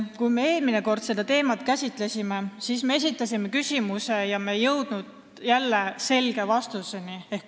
Kui me eelmine kord seda teemat käsitlesime, siis me esitasime ka ühe küsimuse, aga selge vastuseni ei jõudnud.